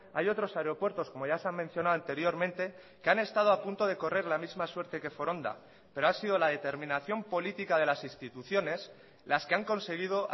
hay otros aeropuertos como ya se han mencionado anteriormente que han estado a punto de correr la misma suerte que foronda pero ha sido la determinación política de las instituciones las que han conseguido